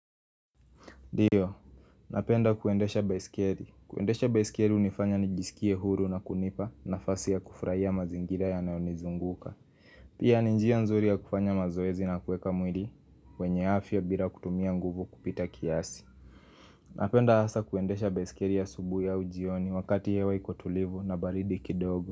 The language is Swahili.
Ndio, napenda kuendesha baisikeli. Kuendesha baisikeli hunifanya nijisikie huru na kunipa nafasi ya kufurahia mazingira yanayonizunguka. Pia ni njia nzuri ya kufanya mazoezi na kuweka mwili, wenye afya bila kutumia nguvu kupita kiasi. Napenda hasa kuendesha baisikeli asubuhi au jioni wakati hewa iko tulivu na baridi kidogo.